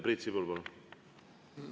Priit Sibul, palun!